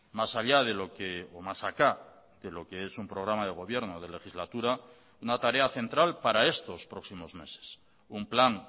mas allá de lo que o más acá de lo que es un programa de gobierno de legislatura una tarea central para estos próximos meses un plan